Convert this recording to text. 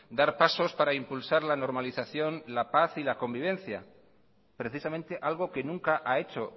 dar pasos para impulsar la normalización la paz y la convivencia precisamente algo que nunca ha hecho